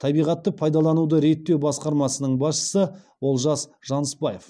табиғатты пайдалануды реттеу басқармасының басшысы олжас жаныспаев